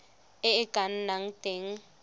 e e ka nnang teng